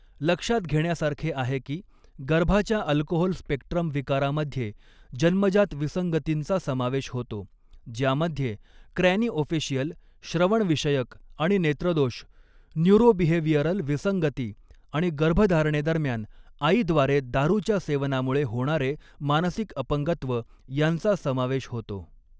लक्षात घेण्यासारखे आहे की, गर्भाच्या अल्कोहोल स्पेक्ट्रम विकारामध्ये जन्मजात विसंगतींचा समावेश होतो, ज्यामध्ये क्रॅनिओफेशियल, श्रवणविषयक आणि नेत्रदोष, न्यूरोबिहेवियरल विसंगती आणि गर्भधारणेदरम्यान आईद्वारे दारूच्या सेवनामुळे होणारे मानसिक अपंगत्व यांचा समावेश होतो.